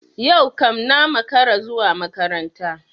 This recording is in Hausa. Yau kam na makara zuwa makaranta.